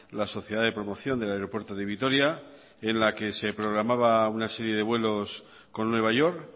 la sociedad de promoción del aeropuerto de vitoria en la que se programaba una serie de vuelos con nueva york